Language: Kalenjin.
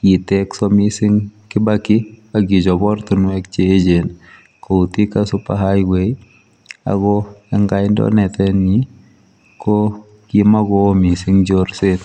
kitekso mising kibaki akichop ortinwek cheechen kou thika super highway ako eng kandoinatenyi ko kimokoo mising chorset